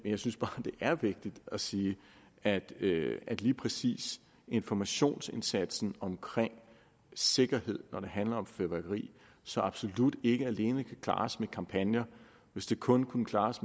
jeg synes bare det er vigtigt at sige at lige præcis informationsindsatsen om sikkerhed når det handler om fyrværkeri så absolut ikke alene kan klares med kampagner hvis det kunne klares